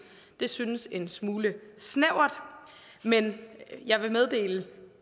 synes en smule snævert men jeg vil meddele